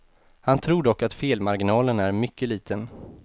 Han tror dock att felmarginalen är mycket liten.